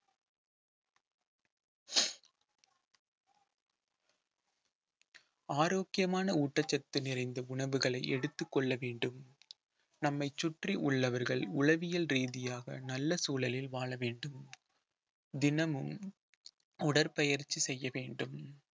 ஆரோக்கியமான ஊட்டச்சத்து நிறைந்த உணவுகளை எடுத்துக் கொள்ள வேண்டும் நம்மைச் சுற்றி உள்ளவர்கள் உளவியல் ரீதியாக நல்ல சூழலில் வாழ வேண்டும் தினமும் உடற்பயிற்சி செய்ய வேண்டும்